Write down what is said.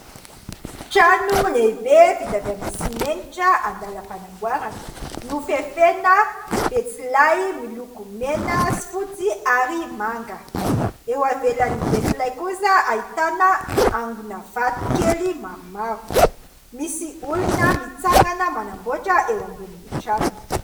Trano lehibe vita avy amin'ny simenitra andalam-panamboarana; Nofefena betsilay miloko mena sy fotsy ary manga; eo avelan'ny betsilay kosa ahitana angona vato kely maromaro; misy olona mitsangana manamboatra eo ambonin'ny trano.